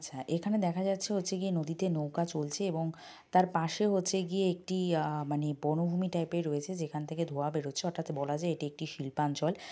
আচ্ছা এখানে দেখা যাচ্ছে হচ্ছে গিয়া নদীতে নৌকা চলছে এবং তার পাশে হচ্ছে গিয়ে একটি আ মানে বনভূমি টাইপ এর রয়েছে যেখান থেকে ধুঁয়া বেরোচ্ছে অর্থাৎ বলা যায় এটি একটি শিল্পাঞ্চল ।